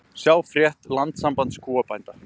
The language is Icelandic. Sjá frétt Landssambands kúabænda